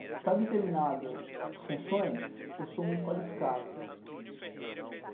Para determinadas funções, eu sou muito qualificado.